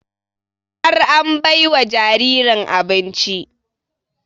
Har an bai wa jaririn abinci